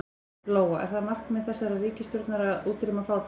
Lóa: Er það markmið þessarar ríkisstjórnar að útrýma fátækt?